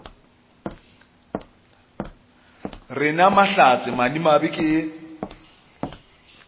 re na mahlatse madimabe ke